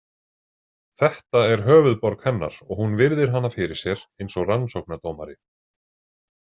Þetta er höfuðborg hennar og hún virðir hana fyrir sér eins og rannsóknardómari.